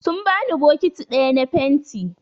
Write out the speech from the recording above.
Sun bani bokiti ɗaya na fenti.